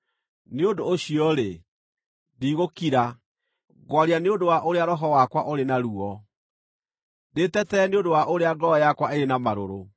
“Nĩ ũndũ ũcio-rĩ, ndigũkira; ngwaria nĩ ũndũ wa ũrĩa roho wakwa ũrĩ na ruo, ndĩtetere nĩ ũndũ wa ũrĩa ngoro yakwa ĩrĩ na marũrũ.